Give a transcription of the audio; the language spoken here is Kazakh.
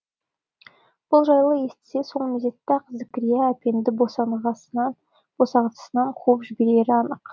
бұл жайлы естісе сол мезетте ақ зікірия әпенді босанғасынан қуып жіберері анық